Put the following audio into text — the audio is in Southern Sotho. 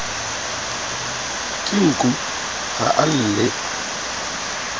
ke nku ha a lle